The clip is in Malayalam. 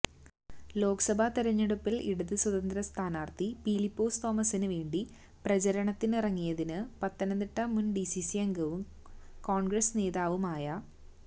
ലോക്സഭ തെരഞ്ഞെടുപ്പില് ഇടത് സ്വതന്ത്ര സ്ഥാനാര്ഥി പീലിപ്പോസ് തോമസിന് വേണ്ടി പ്രചരണത്തിനിറങ്ങിയതിന് പത്തനംതിട്ട മുന് ഡിസിസി അംഗവും കോണ്ഗ്രസ് നേതാവുമായ